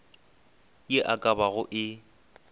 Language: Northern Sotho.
ye e ka bago e